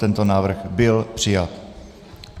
Tento návrh byl přijat.